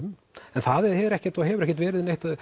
en það er ekkert og hefur ekkert verið neitt